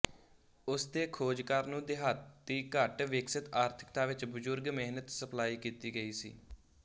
ਉਸ ਦੇ ਖੋਜਕਾਰ ਨੂੰ ਦਿਹਾਤੀ ਘੱਟ ਵਿਕਸਤ ਆਰਥਿਕਤਾ ਵਿੱਚ ਬਜ਼ੁਰਗ ਮਿਹਨਤ ਸਪਲਾਈ ਕੀਤੀ ਗਈ ਸੀ